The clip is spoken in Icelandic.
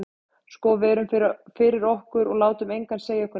Sko við erum fyrir okkur, og látum engan segja okkur neitt.